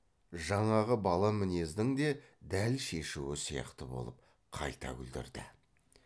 жаңағы бала мінездің де дәл шешуі сияқты болып қайта күлдірді